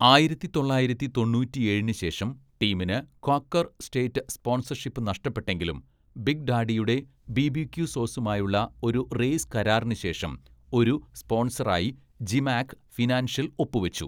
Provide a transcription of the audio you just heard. ആയിരത്തി തൊള്ളായിരത്തി തൊണ്ണൂറ്റിയേഴിന്‌ ശേഷം ടീമിന് ക്വാക്കർ സ്‌റ്റേറ്റ് സ്‌പോൺസർഷിപ്പ് നഷ്‌ടപ്പെട്ടെങ്കിലും ബിഗ് ഡാഡിയുടെ ബിബിക്യു സോസുമായുള്ള ഒരു റേസ് കരാറിന് ശേഷം ഒരു സ്പോൺസറായി ജിമാക്‌ ഫിനാൻഷ്യൽ ഒപ്പുവച്ചു.